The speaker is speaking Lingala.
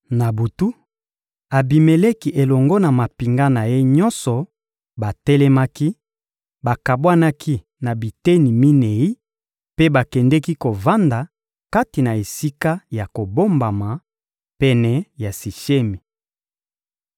Na butu, Abimeleki elongo na mampinga na ye nyonso batelemaki, bakabwanaki na biteni minei mpe bakendeki kovanda kati na esika ya kobombama, pene ya Sishemi.